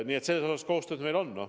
Nii et selles osas koostööd meil on.